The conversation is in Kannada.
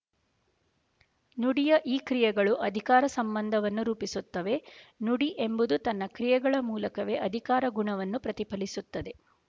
ನುಡಿಯ ಈ ಕ್ರಿಯೆಗಳು ಅಧಿಕಾರ ಸಂಬಂಧವನ್ನು ರೂಪಿಸುತ್ತವೆ ನುಡಿ ಎಂಬುದು ತನ್ನ ಕ್ರಿಯೆಗಳ ಮೂಲಕವೇ ಅಧಿಕಾರ ಗುಣವನ್ನು ಪ್ರತಿಫಲಿಸುತ್ತದೆ